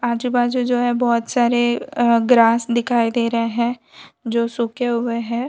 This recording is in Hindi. आजू बाजू जो है बहोत सारे ग्रास दिखाई दे रहे है जो सूखे हुए हैं।